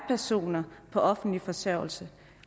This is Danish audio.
personer på offentlig forsørgelse